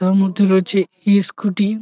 তার মধ্যে রয়েছে ইস স্কুটি ।